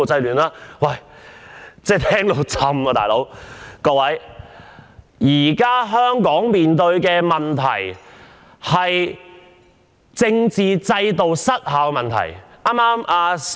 各位，香港目前面對的，是政治制度失效的問題。